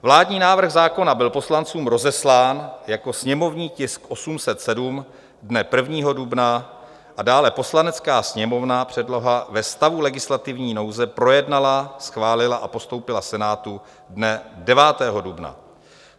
Vládní návrh zákona byl poslancům rozeslán jako sněmovní tisk 807 dne 1. dubna a dále Poslanecká sněmovna předlohu ve stavu legislativní nouze projednala, schválila a postoupila Senátu dne 9. dubna.